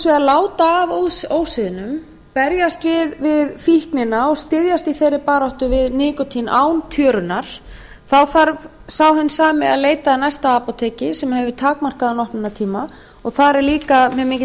vegar láta af ósiðnum berjast við fíknina og styðjast í þeirri baráttu við nikótín án tjörunnar þarf sá hinn sami að leita að næsta apóteki sem hefur takmarkaðan opnunartíma og þar er líka mjög mikill